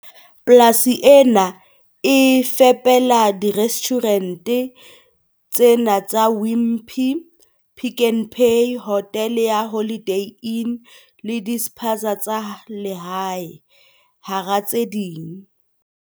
Polasi ena e fepela dire stjhurente tse nne tsa Wimpy, Pick n Pay, hotele ya Holiday Inn le dispaza tsa lehae, hara tse ding.